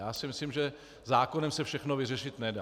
Já si myslím, že zákonem se všechno vyřešit nedá.